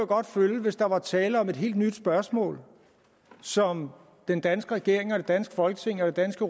godt følge hvis der var tale om et helt nyt spørgsmål som den danske regering og det danske folketing og det danske